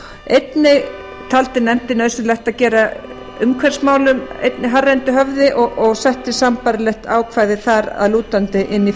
einnig taldi nefndin nauðsynlegt að gera umhverfismálum einnig hærra undir höfði og setti sambærilegt ákvæði þar að lútandi inn